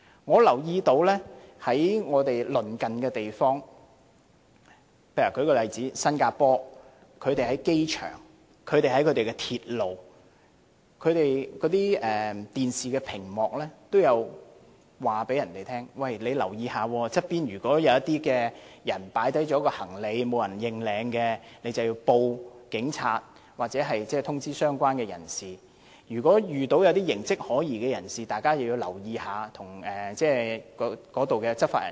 我留意到鄰近香港的地方，例如新加坡在其機場、地鐵站的電視屏幕均有顯示信息警告市民，要留意周邊的地方，如有人放下行李，而又沒有人認領時，市民便要向警察報案，或通知相關的人士；如果遇到一些形跡可疑的人士，大家要留意，並告訴在場的執法人員。